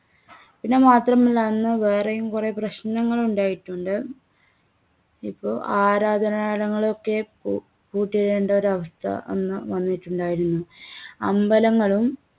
പിന്നെ മാത്രമല്ല. അന്ന് വേറെയും കുറേ പ്രശ്നങ്ങൾ ഉണ്ടായിട്ടുണ്ട്. ഇപ്പോ ആരാധനാലയങ്ങളൊക്കെ പൂ~പൂട്ടിയിടേണ്ട ഒരവസ്ഥ അന്ന് വന്നിട്ടുണ്ടായിരുന്നു. അമ്പലങ്ങളും